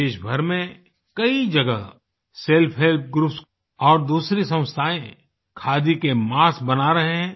देशभर में कई जगह सेल्फ हेल्प ग्रुप्स और दूसरी संस्थाएँ खादी के मास्क बना रहे हैं